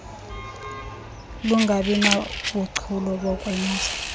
lungabi nabuchule bokwenza